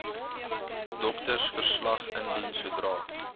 doktersverslag indien sodra